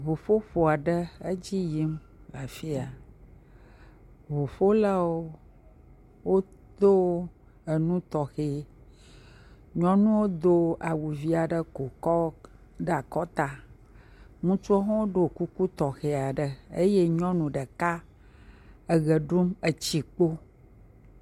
Ŋuƒoƒo aɖe edzi yim le afi ya, ŋuƒolawo wodo anu tɔxɛ, nyɔnuwo do awu vi aɖe ko kɔ bla akɔta, ŋutsuwo hã do kuku tɔxɛ aɖe, eye nyɔnu ɖeka etsi kpo.